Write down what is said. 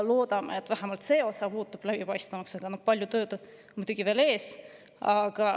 Loodame, et vähemalt see osa muutub läbipaistvamaks, ehkki palju tööd on muidugi veel ees.